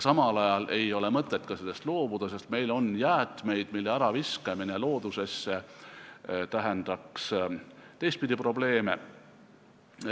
Samal ajal ei ole mõtet sellest loobuda, sest meil on jäätmeid, mille äraviskamine loodusesse tähendaks teistpidi probleeme.